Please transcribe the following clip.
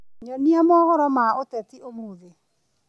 nyonia mohoro ma ũteti ũmũthi